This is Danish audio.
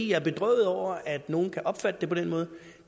jeg er bedrøvet over at nogle kan opfatte det på den måde